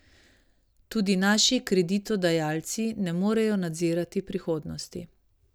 Tudi naši kreditodajalci ne morejo nadzirati prihodnosti.